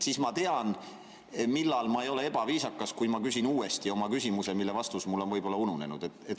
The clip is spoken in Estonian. Siis ma tean, millal ei ole minust ebaviisakas küsida uuesti küsimus, mille vastus on mul võib-olla ununenud.